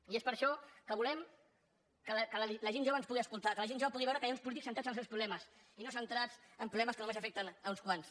i és per això que volem que la gent jove ens pugui escoltar que la gent jove pugui veure que hi ha uns polítics centrats en els seus problemes i no centrats en problemes que només afecten uns quants